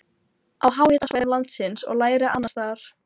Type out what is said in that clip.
á háhitasvæðum landsins og lægri annars staðar.